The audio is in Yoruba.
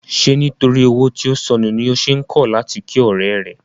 Ṣé nítorí owó tí ó sọnù ni o ṣe kọ̀ láti kí ọ̀rẹ́ rẹ?